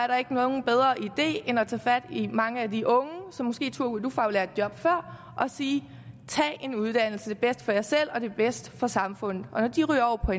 der ikke nogen bedre idé end at tage fat i mange af de unge som måske tog et ufaglært job før og sige tag en uddannelse det er bedst for jer selv og det er bedst for samfundet og når de ryger over på